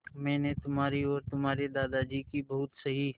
मैंने तुम्हारी और तुम्हारे दादाजी की बहुत सही